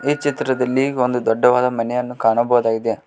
ಈ ಚಿತ್ರದಲ್ಲಿ ಒಂದು ದೊಡ್ಡವಾದ ಮನೆಯನ್ನು ಕಾಣಬಹುದಾಗಿದೆ.